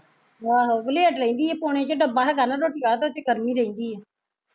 ਆਹੋ ਵਲੇਡ ਰਹਿੰਦੀ ਐ ਪੋਣੇ ਜਹੇ ਡੱਬਾ ਹੈਗਾ ਨਾ ਰੋਟੀ ਆਲਾ ਉਹਦੇ ਚ ਗਰਮ ਈ ਰਹਿੰਦੀ ਏ